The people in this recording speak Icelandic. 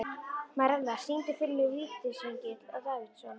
Marella, syngdu fyrir mig „Vítisengill á Davidson“.